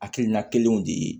Hakilina kelenw de ye